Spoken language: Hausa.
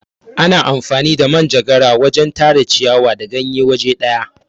Ana amfani da manjegara wajen Tara ciyawa da ganye waje daya.